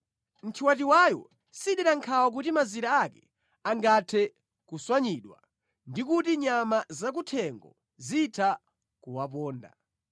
nthiwatiwayo sidera nkhawa kuti mazira ake angathe kuswanyidwa, ndi kuti nyama zakuthengo zitha kuwaponda.